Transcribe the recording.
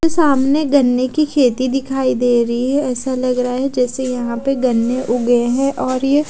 सामने गन्ने की खेती दिखाई दे रही है ऐसा लग रहा है जैसे यहाँ पे गन्ने उगे है और यह--